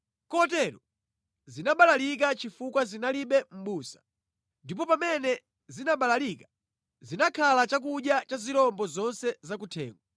Kotero zinabalalika chifukwa zinalibe mʼbusa, ndipo pamene zinabalalika zinakhala chakudya cha zirombo zonse zakuthengo.